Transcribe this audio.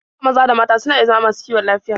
Duka maza da mata suna iya zama masu kiwon lafiya.